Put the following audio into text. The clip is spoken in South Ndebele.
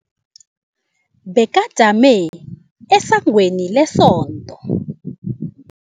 Bekajame esangweni lesonto.